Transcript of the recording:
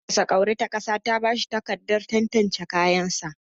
Hukumar fasa kwauri ta ƙasa ta bashi takarda tantance kayan sa